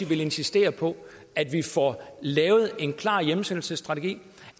vil insistere på at vi får lavet en klar hjemsendelsesstrategi